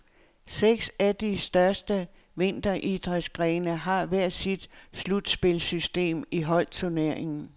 Seks af de største vinteridrætsgrene har hver sit slutspilssystem i holdturneringen.